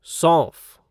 सौंफ